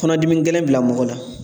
Kɔnɔdimi gɛlɛn bila mɔgɔ la